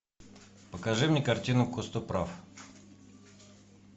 покажи мне картину костоправ